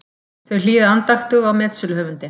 Þau hlýða andaktug á metsöluhöfundinn.